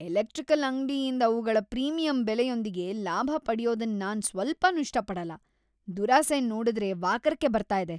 Electrical ಅಂಗ್ಡಿಯಿಂದ್ ಅವುಗಳ premium ಬೆಲೆಯೊಂದಿಗೆ ಲಾಭ ಪಡ್ಯೋದನ್ ನಾನ್ ಸ್ವಲ್ಪನೂ ಇಷ್ಟ ಪಡಲ್ಲ. ದುರಾಸೆನ್ ನೋಡುದ್ರೆ ವಾಕರಿಕೆ ಬರ್ತಾ ಇದೆ,